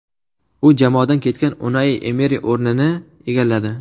U jamoadan ketgan Unai Emeri o‘rnini egalladi.